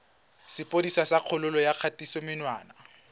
sepodisi sa kgololo ya kgatisomenwa